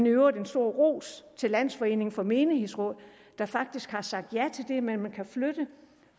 i øvrigt en stor ros til landsforeningen af menighedsråd der faktisk har sagt ja til det med at man kan flytte